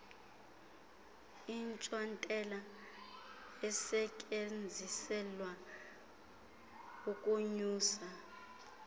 intsontela esetyenziselwa ukunyusa